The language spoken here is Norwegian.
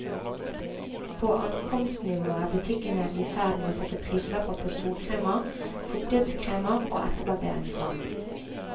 På ankomstnivå er butikkene i ferd med å sette prislapper på solkremer, fuktighetskremer og etterbarberingsvann.